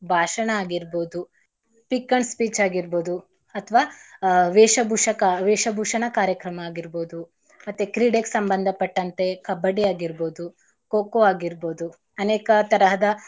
ಭಾಷಣ ಆಗಿರ್ಬೋದು, pick and speech ಆಗಿರ್ಬೋದು ಅಥವಾ ಆಹ್ ವೇಷ ಭೂಷಕ~ ವೇಷಭೂಷಣ ಕಾರ್ಯಕ್ರಮ ಆಗಿರ್ಬೋದು ಮತ್ತೆ ಕ್ರೀಡೆಗ್ ಸಂಬಂದ ಪಟ್ಟಂತೆ ಕಬ್ಬಡ್ಡಿ ಆಗಿರ್ಬೋದು, ಖೋ ಖೋ ಆಗಿರ್ಬೋದು ಅನೇಕ ತರಹದ.